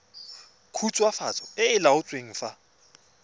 khutswafatso e e laotsweng fa